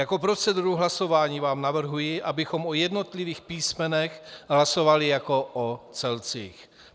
Jako proceduru hlasování vám navrhuji, abychom o jednotlivých písmenech hlasovali jako o celcích.